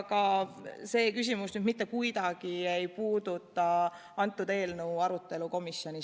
Aga see küsimus ei puuduta mitte kuidagi selle eelnõu arutelu komisjonis.